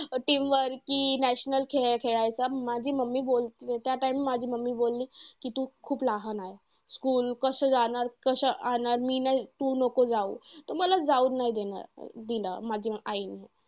Team वरती national खेळ खेळायचा. माझी mummy बोलली त्या time ला माझी mummy बोलली कि तू खूप लहान आहेस. School कसं जाणार कसं अनार मी नाही, तू नको जाऊ. तर मला जाऊ नाही देणार दिलं माझ्या आईने.